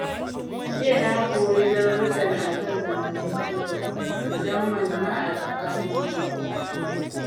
Jiya na koyi darussan a kan zamantakewa, musamman ma a tsakanin maƙota.